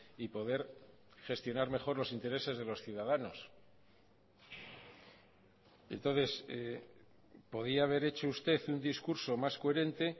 y poder gestionar mejor los intereses de los ciudadanos entonces podía haber hecho usted un discurso más coherente